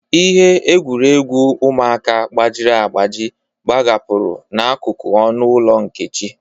Ihe egwuregwu ụmụaka gbajiri agbaji gbahapụrụ n'akụkụ ọnụ ụlọ Nkechi.